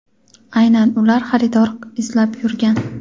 aynan ular xaridor izlab yurgan.